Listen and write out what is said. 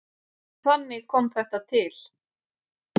Þannig kom þetta til.